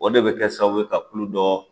O de bɛ kɛ sababu ye ka kulu dɔ